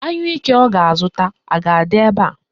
Anyụike ọ ga-azụta a ga-adị ebe a?